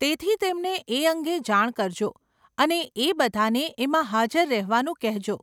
તેથી, તેમણે એ અંગે જાણ કરજો અને એ બધાંને એમાં હાજર રહેવાનું કહેજો.